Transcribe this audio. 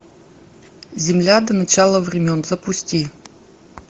земля до начала времен запусти